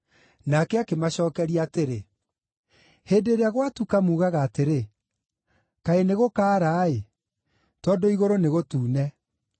Nake akĩmacookeria atĩrĩ, “Hĩndĩ ĩrĩa gwatuka, muugaga atĩrĩ, ‘Kaĩ nĩgũkaara-ĩ, tondũ igũrũ nĩ gũtune’.